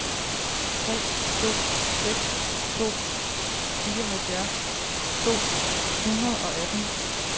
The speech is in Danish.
tre to seks to fireoghalvfjerds to hundrede og atten